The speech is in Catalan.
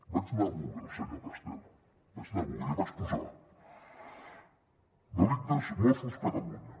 vaig anar a google senyor castel vaig anar a google i hi vaig posar delictes mossos catalunya